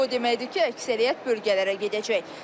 Bu o deməkdir ki, əksəriyyət bölgələrə gedəcək.